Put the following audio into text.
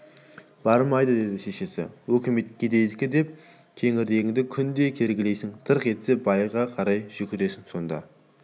бармайды деді шешесі өкімет кедейдікі деп кеңірдегіңді күнде кергілейсің тырқ етсе байға қарай жүгіресің сонда